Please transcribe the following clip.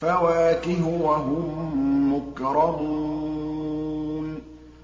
فَوَاكِهُ ۖ وَهُم مُّكْرَمُونَ